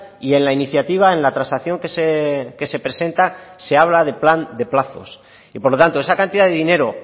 y en la iniciativa en la transacción que se presenta se habla de plan de plazos y por lo tanto esa cantidad de dinero